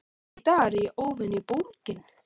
Í dag er ég óvenju bólgin.